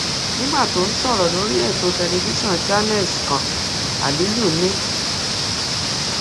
nígbà tó ń sọrọ lórí ètò tẹlifíṣàn channels kan aliyu ni